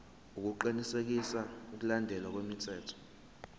ukuqinisekisa ukulandelwa kwemithetho